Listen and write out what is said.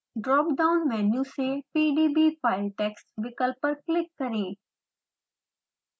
dropdown menu से pdbfiletext विकल्प पर क्लिक करें